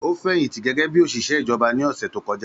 Ó fẹ̀yìntì gẹ́gẹ́ bí òṣìṣẹ́ ìjọba ní ọ̀sẹ̀ tó kọjá